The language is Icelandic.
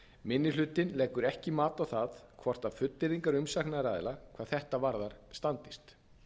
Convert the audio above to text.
minni hlutinn leggur ekki mat á það hvort fullyrðingar umsagnaraðila hvað þetta varðar standist